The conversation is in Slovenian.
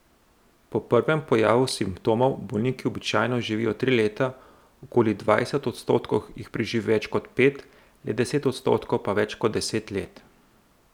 Po prvem pojavu simptomov bolniki običajno živijo tri leta, okoli dvajset odstotkov jih preživi več kot pet, le deset odstotkov pa več kot deset let.